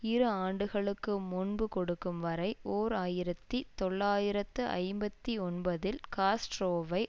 இரு ஆண்டுகளுக்கு முன்பு கொடுக்கும் வரை ஓர் ஆயிரத்தி தொள்ளாயிரத்து ஐம்பத்தி ஒன்பதில் காஸ்ட்ரோவை